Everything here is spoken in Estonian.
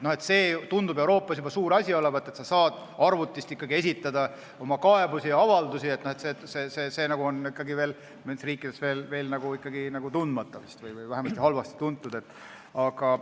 See tundub Euroopas juba suur asi olevat, et sa saad arvutist kaebusi ja avaldusi esitada, see on ikka mõnes riigis tundmatu või vähemasti halvasti tuntud võimalus.